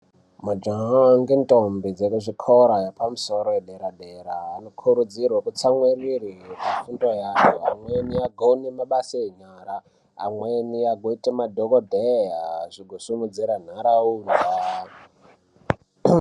Majaha nendombi dzekuzvikora zvekumusoro zvedera dera anokurudzirwa kutsamwirira nefundo yavo amweni agone mabasa enyara amweni agozoita madhokodheya zvigosimudzira nharaunda.